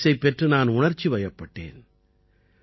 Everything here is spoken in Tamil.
இந்தப் பரிசைப் பெற்று நான் உணர்ச்சிவயப்பட்டேன்